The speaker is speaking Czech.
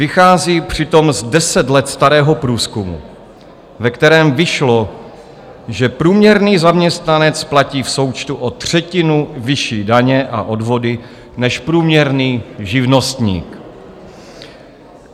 Vychází přitom z deset let starého průzkumu, ve kterém vyšlo, že průměrný zaměstnanec platí v součtu o třetinu vyšší daně a odvody než průměrný živnostník.